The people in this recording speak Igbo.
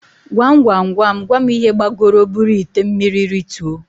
Gwam Gwam Gwam Gwam ihe gbagoro buru ite mmiri rituo?